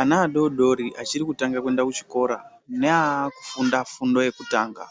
Ana adodori achiri kutanga kuenda kuchikora naakufunda fundo yekutanga